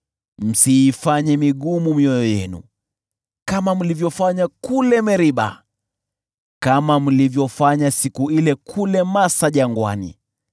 msiifanye mioyo yenu migumu kama mlivyofanya kule Meriba, kama mlivyofanya siku ile kule Masa jangwani,